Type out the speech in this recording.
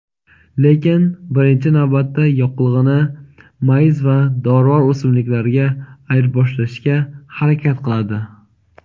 lekin birinchi navbatda yoqilg‘ini mayiz va dorivor o‘simliklarga ayirboshlashga harakat qiladi.